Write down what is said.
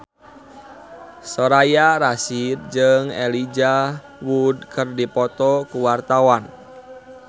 Soraya Rasyid jeung Elijah Wood keur dipoto ku wartawan